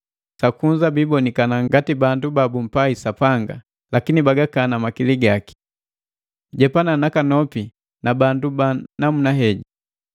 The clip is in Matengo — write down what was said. Sakunza biiponikana ngati bandu babumpai Sapanga, lakini bagakana makili gaki. Jepana nakanopi na bandu ba namuna heji.